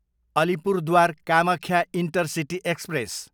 Alipurduar, Kamakhya intercity express